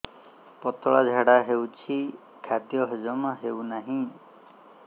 ପତଳା ଝାଡା ହେଉଛି ଖାଦ୍ୟ ହଜମ ହେଉନାହିଁ